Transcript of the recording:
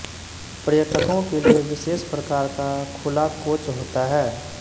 पर्यटकों के लिए विशेष प्रकार का खुला कोच होता है